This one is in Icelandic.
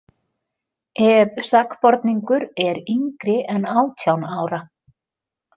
Ef sakborningur er yngri en átján ára.